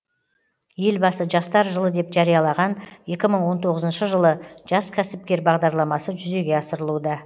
елбасы жастар жылы деп жариялаған екі мың он тоғызыншы жылы жас кәсіпкер бағдарламасы жүзеге асырылуда